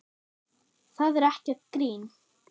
Það er ekkert grín.